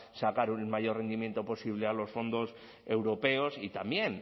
sacar el mayor rendimiento posible a los fondos europeos y también